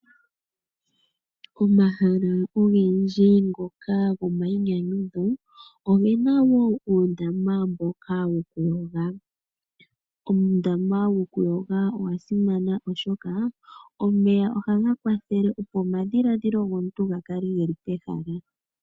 Omahala ogendji ngoka gomainyanyudho oge na wo uundama mboka woku yoga. Uundama wokuyoga owa simana oshoka omeya ohaga kwathele opo omadhiladhilo gomuntu ga kale ge li pehala.